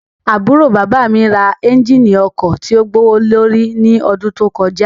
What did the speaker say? Aburo baba mi ra ẹnjínì ọkọ tio gbowolori ni ọdun to kọja